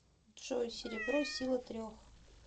джой серебро сила трех